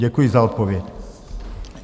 Děkuji za odpověď.